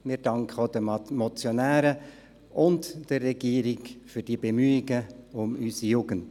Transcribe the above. Wir danken auch den Motionären und der Regierung für die Bemühungen um unsere Jugend.